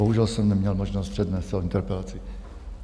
Bohužel jsem neměl možnost přednést celou interpelaci.